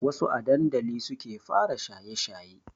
Wassu a dandali suke fara shaye shaye